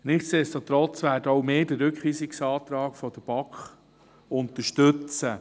Nichtsdestotrotz werden auch wir den Rückweisungsantrag der BaK unterstützen.